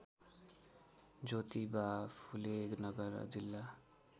ज्योतिबा फुले नगर जिल्ला